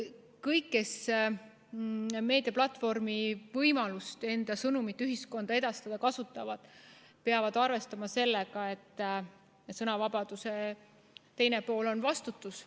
Kõik, kes kasutavad meediaplatvormi antavat võimalust enda sõnumit ühiskonnas edastada, peavad arvestama sellega, et sõnavabaduse teine pool on vastutus.